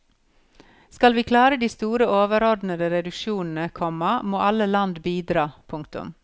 Skal vi klare de store overordnede reduksjonene, komma må alle land bidra. punktum